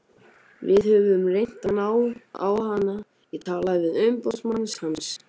Við höfum reynt að ná á hann, ég talaði við umboðsmann hans.